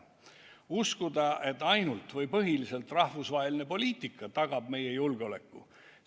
Ehk uskuda, et ainult või põhiliselt rahvusvaheline poliitika tagab meie julgeoleku?